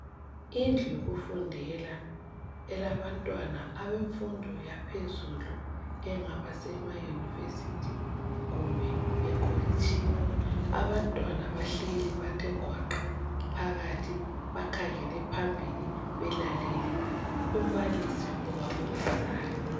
Indlu yokufundela elabantwana abemfundo yaphezulu engaba sema University kumbe e College(tshini)abantwana bahleli bathe gwaqa phakathi bakhangele phambili belalele umbalisi obafundisayo